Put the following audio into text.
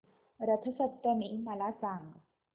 रथ सप्तमी मला सांग